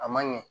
A man ɲɛ